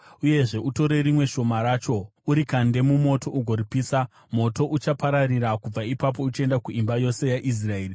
Uyezve, utore rimwe shoma racho urikande mumoto ugoripisa. Moto uchapararira kubva ipapo uchienda kuimba yose yaIsraeri.